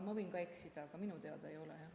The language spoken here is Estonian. Ma võin eksida, aga minu teada ei ole.